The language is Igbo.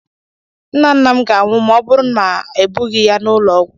nna nna m ga-anwụ ma ọ bụrụ na m ebughị ya n'ụlọ ọgwụ